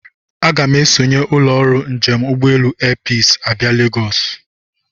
Aga m esonye ụlọ ọrụ njem ụgbọelu Airpeace abịa Legosi.